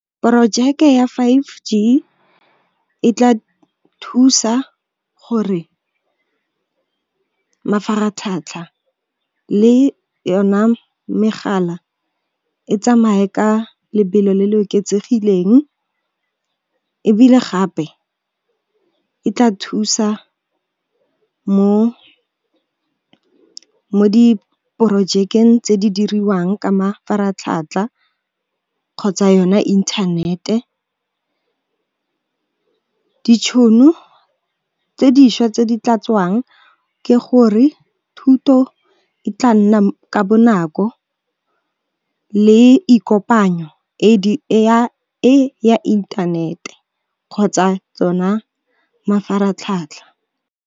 Porojeke ya five G e tla thusa gore mafaratlhatlha le yona megala e tsamaye ka lebelo le le oketsegileng ebile gape, e tla thusa mo diporojekeng tse di diriwang ka mafaratlhatlha kgotsa yone internet-e. Ditšhono tse dišwa tse di tla tswang ke gore, thuto e tla nna ka bonako le ikopanyo e ya inthanete kgotsa tsona mafaratlhatlha.